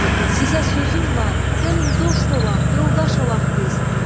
Sizə sözüm var, gəlin dost olaq, yoldaş olaq biz.